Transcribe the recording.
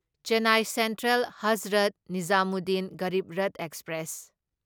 Chennai central Hazrat Nizamuddin Garib Rath express